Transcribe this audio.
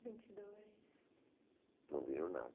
vinte e dois. não viram nada